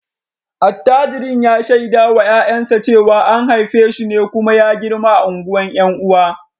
Attajirin ya shaida wa ’ya’yansa cewa an haife shi ne kuma ya girma a unguwar ’yan uwa